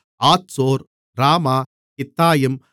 ஆத்சோர் ராமா கித்தாயிம்